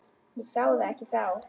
Ég sá það ekki þá.